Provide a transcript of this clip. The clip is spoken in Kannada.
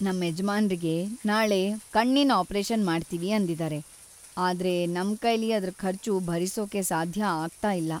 ನಮ್ಮೆಜ್ಮಾನ್ರಿಗೆ ನಾಳೆ ಕಣ್ಣಿನ್ ಆಪರೇಷನ್ ಮಾಡ್ತೀವಿ ಅಂದಿದಾರೆ, ಆದ್ರೆ ನಮ್ಕೈಲಿ ಅದ್ರ್‌ ಖರ್ಚು ಭರಿಸೋಕೆ ಸಾಧ್ಯ ಆಗ್ತಾ ಇಲ್ಲ.